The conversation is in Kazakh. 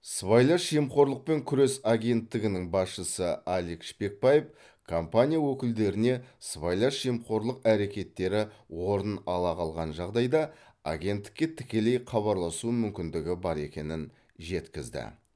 сыбайлас жемқорлықпен күрес агенттігінің басшысы алик шпекбаев компания өкілдеріне сыбайлас жемқорлық әрекеттері орын ала қалған жағдайда агенттікке тікелей хабарласу мүмкіндігі бар екенін жеткізді